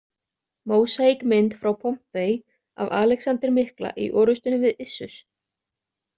Mósaíkmynd frá Pompei af Alexander mikla í orrustunni við Issus.